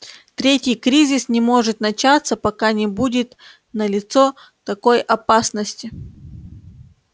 третий кризис не может начаться пока не будет налицо такой опасности